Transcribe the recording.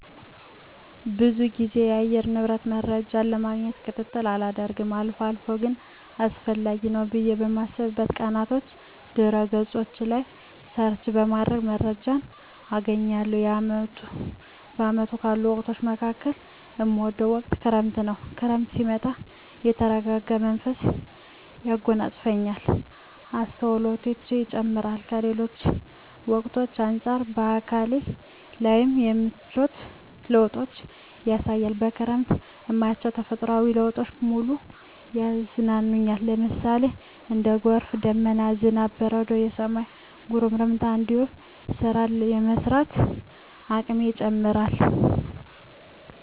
ብዙ ግዜ የአየር ንብረት መረጃን ለማግኘት ክትትል አላደርግም አልፎ አልፎ ግን አስፈላጊ ነው ብየ በማስብበት ቀናቶች ድህረ ገጾች ላይ ሰርች በማድረግ መረጃ አገኛለሁ። በአመቱ ካሉ ወቅቶች መካከል እምወደው ወቅት ክረምትን ነው። ክረምት ሲመጣ የተረጋጋ መንፈስ ያጎናጽፈኛል፣ አስተውሎቴ ይጨምራር፣ ከሌሎች ወቅቶች አንጻር በአካሌ ላይም የምቿት ለውጦችን ያሳያል፣ በክረምት እማያቸው ተፈጥሮአዊ ለውጦች በሙሉ ያዝናኑኛል ለምሳሌ:- እንደ ጎርፍ፣ ደመና፣ ዝናብ፣ በረዶ፣ የሰማይ ጉርምርምታ እንዲሁም ስራን የመስራት አቅሜ ይጨምራር